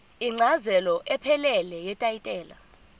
incazelo ephelele yetayitela